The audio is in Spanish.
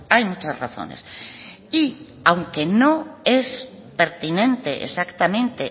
hay muchas razones y aunque no es pertinente exactamente